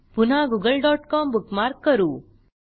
पुन्हा googleकॉम बुकमार्क करू